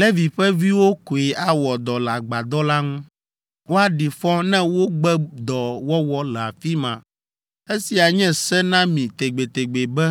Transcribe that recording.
Levi ƒe viwo koe awɔ dɔ le agbadɔ la ŋu. Woaɖi fɔ ne wogbe dɔ wɔwɔ le afi ma. Esia nye se na mi tegbetegbe be